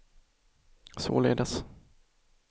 således